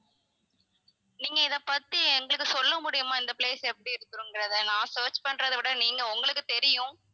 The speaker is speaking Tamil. நீங்க இத பத்தி எங்களுக்கு சொல்ல முடியுமா இந்த place எப்படி இருக்குங்கிறத நான் search பண்றத விட நீங்க உங்களுக்கு தெரியும்